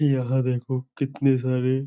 यह देखो कितने सारे --